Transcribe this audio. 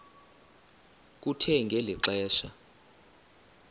kuthe ngeli xesha